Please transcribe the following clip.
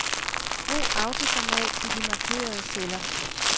Brug autoformat i de markerede celler.